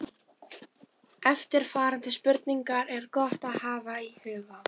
Eftirfarandi spurningar er gott að hafa í huga